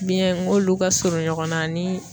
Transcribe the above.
Biyɛn n k'olu ka surun ɲɔgɔn na ani